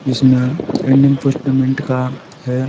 जिसमें Indian first payment का--